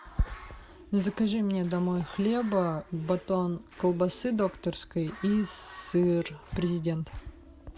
закажи мне домой хлеба батон колбасы докторской и сыр президент